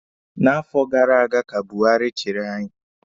Na afọ gara aga ka Buhari chiri anyị.